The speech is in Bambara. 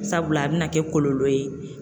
Sabula a bina kɛ kɔlɔlɔ ye.